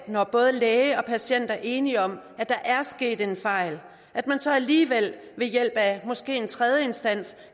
når både læge og patient er enige om at der er sket en fejl at man så alligevel ved hjælp af måske en tredje instans